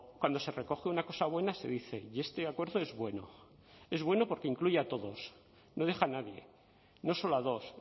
cuando se recoge una cosa buena se dice y este acuerdo es bueno es bueno porque incluye a todos no deja a nadie no solo a dos